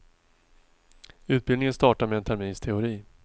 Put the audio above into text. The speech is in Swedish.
Utbildningen startar med en termins teori.